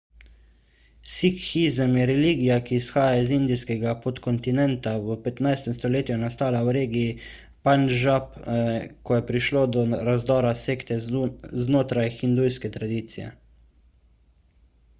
sikhizem je religija ki izvira iz indijskega podkontinenta v 15 stoletju je nastala v regiji pandžab ko je prišlo do razdora sekte znotraj hindujske tradicije